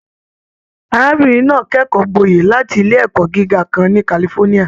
Arábìnrin náà kẹkọọ gbọye láti ilé ẹkọ gíga kan ni California.